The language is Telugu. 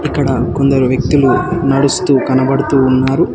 అక్కడ కొందరు వ్యక్తులు నడుస్తూ కనబడుతూ ఉన్నారు.